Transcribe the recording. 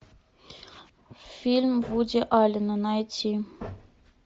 фильм вуди аллена найти